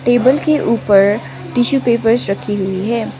Table के ऊपर tissue papers रखी हुई है।